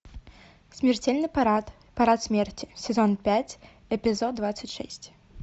смертельный парад парад смерти сезон пять эпизод двадцать шесть